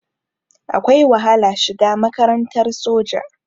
Akwai wahala shiga makarantar soja.